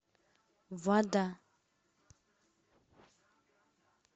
вода